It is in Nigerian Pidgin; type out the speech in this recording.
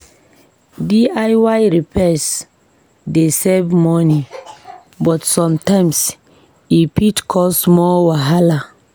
DIY repairs dey save money, but sometimes e fit cause more wahala.